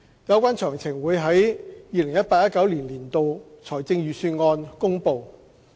有關詳情將於 2018-2019 年度財政預算案公布。